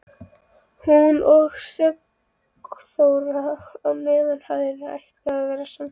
Hún og Sigþóra á neðri hæðinni ætluðu að vera samferða.